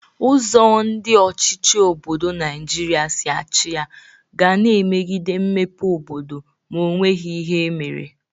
Ụzọ ndị ọchịchị obodo Naijiria si achị ya ga na-emegide mmepe obodo ma o nweghi ihe emere.